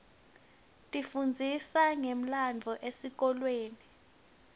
tifundzisa ngemlandvo esikolweni